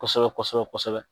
Kosɛbɛ kosɛbɛ kosɛbɛ